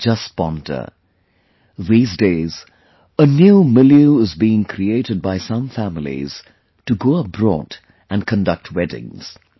Just ponder... these days a new milieu is being created by some families to go abroad and conduct weddings